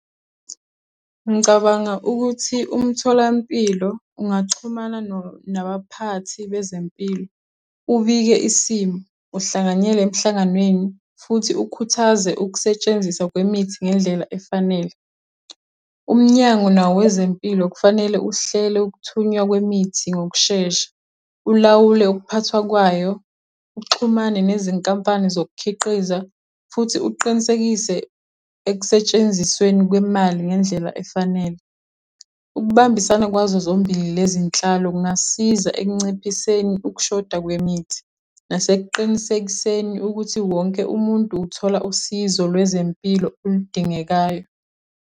Ngicabanga ukuthi umtholampilo ungaxhumana nabaphathi bezempilo, ubike isimo, uhlanganyele emhlanganweni, futhi ukhuthaze ukusetshenziswa kwemithi ngendlela efanele. Umnyango nawo wezempilo kufanele uhlele Ukuthunywa kwemithi ngokushesha, ulawule ukuphathwa kwayo, uxhumane nezinkampani zokukhiqiza, futhi uqinisekise ekusentshenzisweni kwemali ngendlela efanele. Ukubambisana kwazo zombili lezi nhlalo kungasiza ekunciphiseni ukushoda kwemithi, nasekuqinisekiseni ukuthi wonke umuntu uthola usizo lwezempilo oludingekayo.